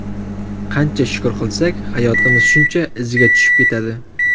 Qancha shukur qilsak, hayotimiz shuncha iziga tushib ketadi.